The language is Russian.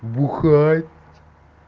бухать